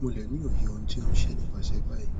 mo le ni oye ohun ti o n ṣe nipasẹ bayi